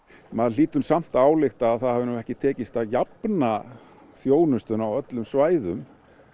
maður hlýtur nú samt að álykta að það hafi ekki tekist að jafna þjónustuna á öllum svæðum